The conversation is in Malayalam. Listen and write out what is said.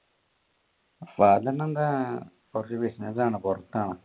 father എന്താ കുറച്ചു business ആണ് പുറത്താണ്.